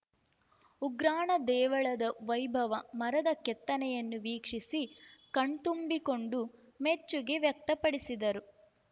ಉಗ್ರಾಣ ದೇವಳದ ವೈಭವ ಮರದ ಕೆತ್ತನೆಯನ್ನು ವೀಕ್ಷಸಿ ಕಣ್ತುಂಬಿಕೊಂಡು ಮೆಚ್ಚುಗೆ ವ್ಯಕ್ತಪಡಿಸಿದರು